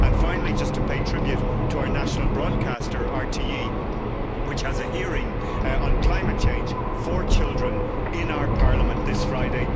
Finally, just to pay tribute to our national broadcaster, RTE, which has a hearing on climate change for children in our parliament this Friday.